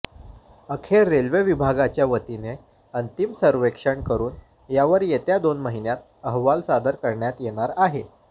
अखेर रेल्वे विभागाच्यावतीने अंतिम सर्व्हेक्षण करून यावर येत्या दोन महिन्यात अहवाल सादर करण्यात येणार आहे